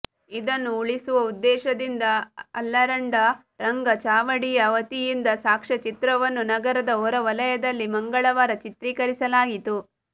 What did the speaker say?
ಇದನ್ನು ಉಳಿಸುವ ಉದ್ದೇಶದಿಂದ ಅಲ್ಲಾರಂಡ ರಂಗ ಚಾವಡಿಯ ವತಿಯಿಂದ ಸಾಕ್ಷ್ಯಚಿತ್ರವನ್ನು ನಗರದ ಹೊರವಲಯದಲ್ಲಿ ಮಂಗಳವಾರ ಚಿತ್ರೀಕರಿಸಲಾಯಿತು